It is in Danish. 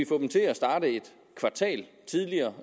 få dem til at starte et kvartal tidligere